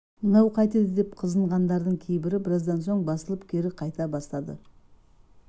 мынау қайтеді деп қызынғандардың кейбірі біраздан соң басылып кері қайта бастады